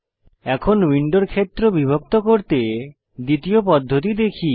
এখন উইন্ডোর ক্ষেত্র বিভক্ত করতে দ্বিতীয় পদ্ধতি দেখি